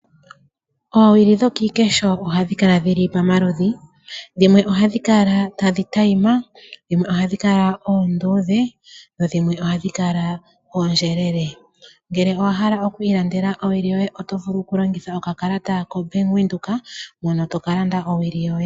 Oowili dhokiikesho ohadhi kala dhili pamaludhi, dhimwe ohadhi kala tadhi adhima dho dhimwe ohadi kala ondjelele ,ngele owa hala oku landa owili yoye oto vulu oku longitha okakalata kobank Windhoek opo wuka lande owili yoye.